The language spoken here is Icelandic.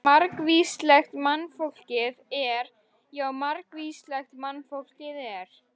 Margvíslegt mannfólkið er, já margvíslegt mannfólkið er.